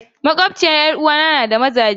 Makwabciyar 'yar uwata na da mazaje da yawa.